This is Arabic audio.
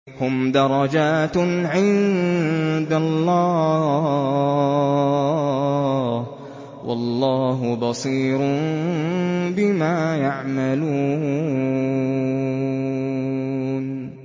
هُمْ دَرَجَاتٌ عِندَ اللَّهِ ۗ وَاللَّهُ بَصِيرٌ بِمَا يَعْمَلُونَ